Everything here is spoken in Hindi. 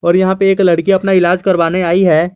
और यहां पे एक लड़की अपना इलाज करवाने आई है।